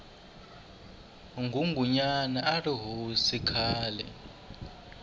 ngungunyana arihhosi khale